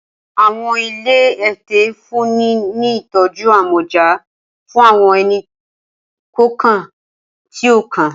Awọn ile ẹtẹ nfunni ni itọju amọja fun awọn ẹni-kọọkan ti o kan.